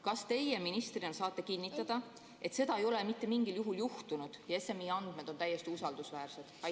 Kas teie ministrina saate kinnitada, et seda ei ole mitte mingil juhul juhtunud ja SMI andmed on täiesti usaldusväärsed?